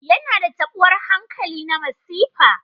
Yana da taɓuwar hankali na masifa.